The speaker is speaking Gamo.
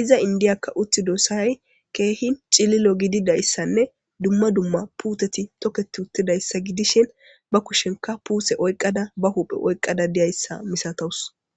iza indiyakka uti dossahay keehi cililo gididayssanne dumma dumma puuteti tokketi uttidayssa gidishin ba kushenka puuse oyqqada ba huphe oyqqada deyayssa misatowus.